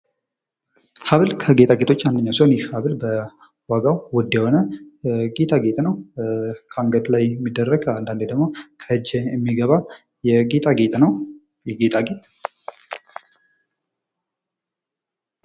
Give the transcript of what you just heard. ሀብል ከጌጣጌጦች አንድኛው ሲሆን ይህ ሀብል በዋጋው ውድ የሆነ ጌጣጌጥ ነው። ከአንገት ላይ የሚደረግ አንዳንዴ ደግሞ ከእጅ የሚገባ ጌጣጌጥ ነው። ይህ ጌጣጌጥ።